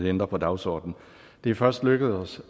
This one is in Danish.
ændre på dagsordenen det er først lykkedes